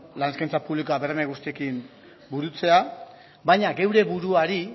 lan eskaintza publikoa berme guztiekin burutzea baina geure buruari